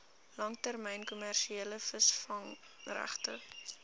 langtermyn kommersiële visvangregte